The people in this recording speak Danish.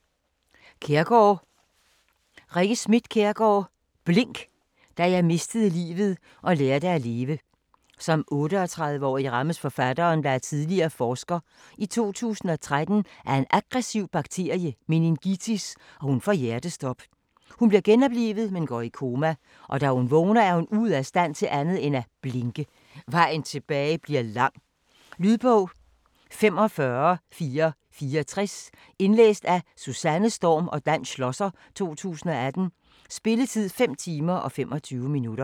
Kjærgaard, Rikke Schmidt: Blink: da jeg mistede livet og lærte at leve Som 38-årig rammes forfattereren, der er tidligere forsker, i 2013 af en aggressiv bakteriel meningitis, og hun får hjertestop. Hun bliver genoplivet, men går i koma. Da hun vågner er hun ude af stand til andet end at blinke. Vejen tilbage bliver lang. Lydbog 45464 Indlæst af Susanne Storm og Dan Schlosser, 2018. Spilletid: 5 timer, 25 minutter.